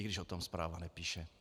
I když o tom zpráva nepíše.